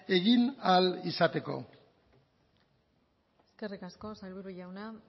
egin ahal izateko eskerrik asko sailburu jauna